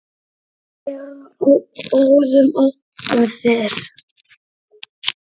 Eru á báðum áttum þið.